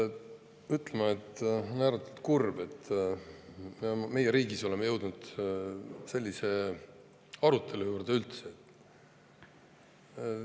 Pean ütlema, et on ääretult kurb, et me üldse oleme riigis jõudnud sellise arutelu juurde.